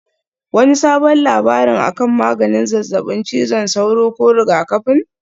Wani sabon labari akan maganin zazzabin cizon sauro ko rigakafin?